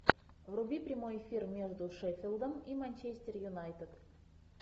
вруби прямой эфир между шеффилдом и манчестер юнайтед